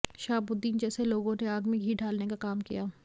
शहाबुद्दीन जैसे लोगों ने आग में घी डालने का काम किया